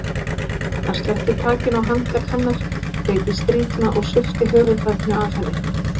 Hann sleppti takinu á handlegg hennar, greip í strýtuna og svipti höfuðfatinu af henni.